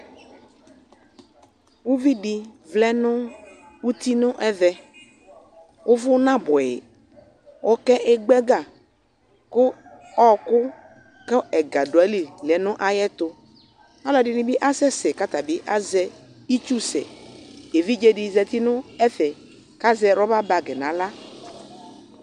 uvidi vlɛ nu uti nɛvɛ uvu na buɛyi ɔké gba ɛgă ku ɔku ku ɛgă duayili lɛ nu ayɛtu aluɛ dini bi asɛsɛ ka tabi azɛ itsu sɛ évidzé di zɛti nu ɛfɛ ka zɛ rɔba bagui 'a axlă